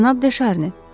Cənab De Şarni.